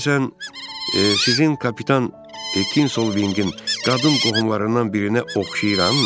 Görəsən, sizin kapitan Tekin Solvinqin qadın qohumlarından birinə oxşayıram mən?